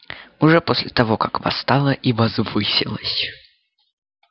уже после того как восстала и возвысилась